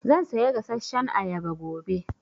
Zan saya gasashshan ayaba gobe.